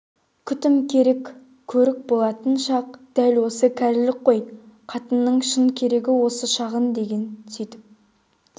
күтім керек көрік болатын шақ дәл осы кәрілік қой қатынның шын керегі осы шағың деген сүйтіп